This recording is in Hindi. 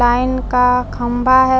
लाइन का खम्बा ह--